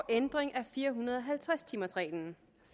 ændring af fire hundrede og halvtreds timers reglen